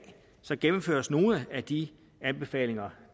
gennemføres nogle af de anbefalinger